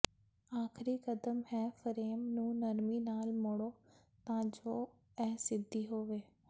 ਆਖਰੀ ਕਦਮ ਹੈ ਫਰੇਮ ਨੂੰ ਨਰਮੀ ਨਾਲ ਮੋੜੋ ਤਾਂ ਜੋ ਇਹ ਸਿੱਧੀ ਹੋਵੇ